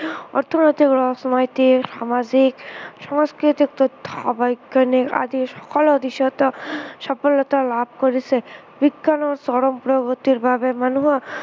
অৰ্থনৈতিক, ৰাজনৈতিক, সামাজিক, সাংস্কৃতিক তথা বৈজ্ঞানিক আদি সকলো দিশতে সফলতা কৰিছেে। বিজ্ঞানৰ চৰম প্ৰগতিৰ বাবে মানুহে